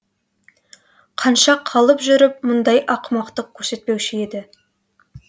қанша қалып жүріп мұндай ақымақтық көрсетпеуші еді